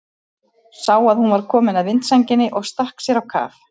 Sá að hún var komin að vindsænginni og stakk sér á kaf.